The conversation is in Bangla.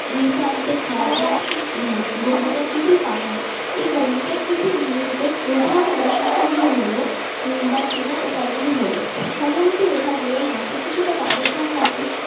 দুই প্রান্তে খাদার সৃষ্টি হয় গম্বুজাকৃতির পাহাড় এই গম্বুজাকৃতির ভূমিরূপ এর প্রধান বৈশিষ্ট্য গুলি হল বা চেনার উপায় গুলি হল সমোন্নতি রেখা গুলোর মাঝে কিছুটা ব্যবধান থাকে।